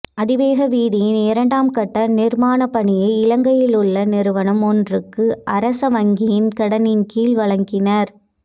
அதிவேக வீதியின் இரண்டாம் கட்ட நிர்மாணப்பணியை இலங்கையிலுள்ள நிறுவனம் ஒன்றுக்கு அரச வங்கியின் கடனின் கீழ் வழங்கினர்